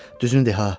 Düzünü de, ha.